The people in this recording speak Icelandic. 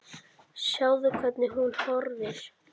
Sjáðu, hvernig hún horfir!